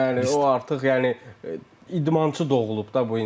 Bəli, o artıq yəni idmançı doğulub da bu insan.